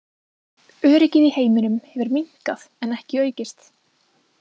Öryggið í heiminum hefur minnkað en ekki aukist.